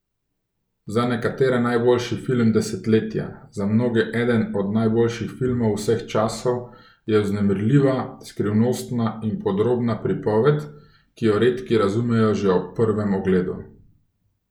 Za nekatere najboljši film desetletja, za mnoge eden od najboljših filmov vseh časov je vznemirljiva, skrivnostna in podrobna pripoved, ki jo redki razumejo že ob prvem ogledu.